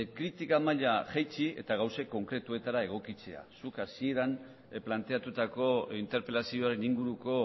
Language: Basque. kritika maila jaitsi eta gauza konkretuetara egokitzea zuk hasieran planteatutako interpelazioaren inguruko